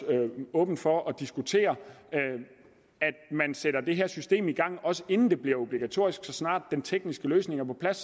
åben over for at diskutere at man sætter det her system i gang inden det bliver obligatorisk og så snart den tekniske løsning er på plads